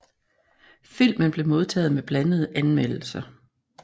Filmen blev modtaget med blandede anmeldelser